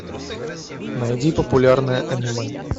найди популярное аниме